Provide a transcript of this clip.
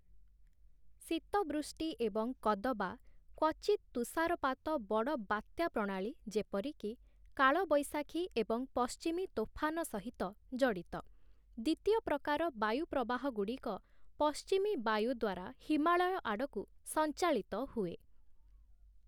ଶୀତବୃଷ୍ଟି ଏବଂ କଦବା କ୍ଵଚିତ୍ ତୁଷାରପାତ ବଡ଼ ବାତ୍ୟା ପ୍ରଣାଳୀ ଯେପରିକି, 'କାଳ ବେଶାଖୀ' ଏବଂ 'ପଶ୍ଚିମୀ ତୋଫାନ' ସହିତ ଜଡ଼ିତ । ଦ୍ଵିତୀୟ ପ୍ରକାର ବାୟୁ ପ୍ରବାହଗୁଡ଼ିକ ପଶ୍ଚିମୀ ବାୟୁ ଦ୍ଵାରା ହିମାଳୟ ଆଡ଼କୁ ସଞ୍ଚାଳିତ ହୁଏ ।